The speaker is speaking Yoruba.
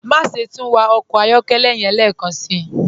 Máṣẹ̀ tún wà ọkọ ayọ̀kẹlẹ́ yẹ̀n lẹ́kánsí.